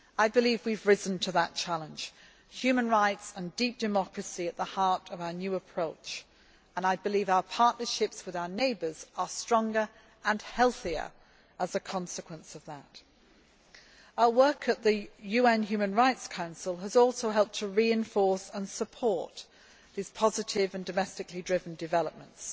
I believe we have risen to that challenge. Human rights and deep democracy are at the heart of our new approach, and I believe our partnerships with our neighbours are stronger and healthier as a result. Our work at the UN Human Rights Council has also helped to reinforce and support these positive and domestically driven developments.